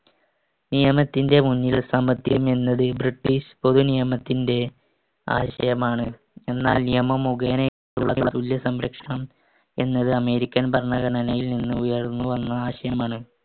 നിയമത്തിന്‍റെ മുന്നിൽ സമത്വമെന്നത് ബ്രിട്ടീഷ് പൊതുനിയമത്തിന്‍റെ ആശയമാണ്. എന്നാൽ നിയമം മുഖേനയുള്ള തുല്യ സംരക്ഷണം എന്നത് അമേരിക്കൻ ഭരണഘടനയിൽ നിന്നുയർന്നുവന്ന ആശയമാണ്.